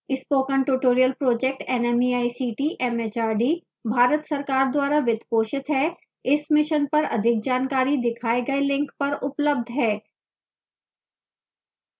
spoken tutorial project nmeict mhrd Bharat सरकार द्वारा वित्त पोषित है इस मिशन पर अधिक जानकारी दिखाए गए लिंक पर उपलब्ध है